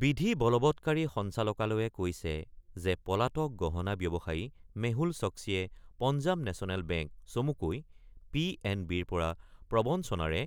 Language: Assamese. বিধি বলৱৎকাৰী সঞ্চালকালয়ে কৈছে যে পলাতক গহণা ব্যৱসায়ী মেহুল ছক্সীয়ে পঞ্জাৱ নেচনেল বেংক চমুকৈ পি এন বিৰ পৰা প্ৰৱঞ্চনাৰে